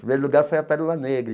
Primeiro lugar foi a Pérola Negra.